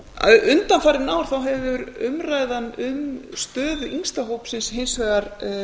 sveitarfélaga undanfarin ár þá hefur umræðan um stöðu yngsta hópsins hins vegar